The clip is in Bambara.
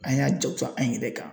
An y'a jakosa an yɛrɛ kan